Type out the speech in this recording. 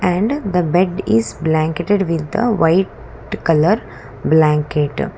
and the bed is blanketed with the white colour blanket.